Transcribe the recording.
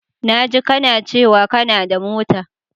Na jika kana cewa kanada mota.